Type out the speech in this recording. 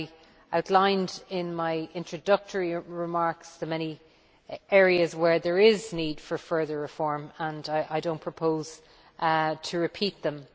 I outlined, in my introductory remarks, the many areas where there is need for further reform, and I do not propose to repeat them.